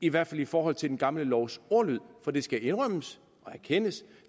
i hvert fald i forhold til den gamle lovs ordlyd for det skal indrømmes og erkendes